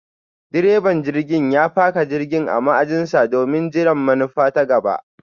direban jirgin ya faka jirgin a ma'ajin sa domin jiran manufa ta gaba.